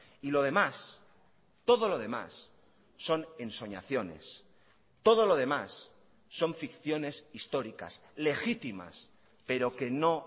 y lo demás todo lo demás son ensoñaciones todo lo demás son ficciones históricas legítimas pero que no